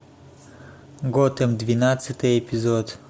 готэм двенадцатый эпизод